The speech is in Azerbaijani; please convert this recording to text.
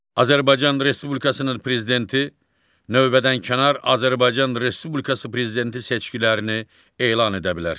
Azərbaycan Respublikasının Prezidenti növbədənkənar Azərbaycan Respublikası Prezidenti seçkilərini elan edə bilər.